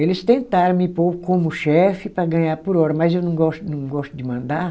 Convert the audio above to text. Eles tentaram me pôr como chefe para ganhar por hora, mas eu não gosto, não gosto de mandar.